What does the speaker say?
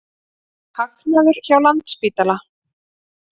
Hagnaður hjá Landspítala